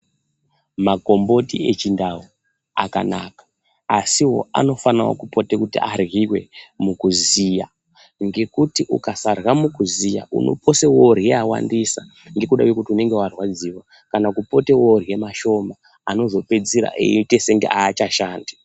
Makomboti echindau, akanaka, asiwo anofanire kupotewo kuti adligwe mukuziya, ngekuti ukasadla mukuziya unopose wodlye awandisa ngekuda kwekuti unonga warwadziwa kana kupote wodla mashoma anozopedzisira eyite kunga achashandi.